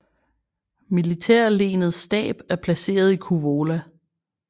Militærlenets stab er placeret i Kouvola